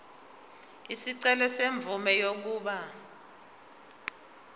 isicelo semvume yokuba